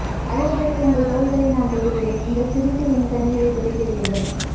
அழுவதற்கு உங்கள் தோள்களை நான் தேடுகிறேன் நீங்கள் சிரித்து என் கண்ணீரைத் துடைக்கிறீர்கள்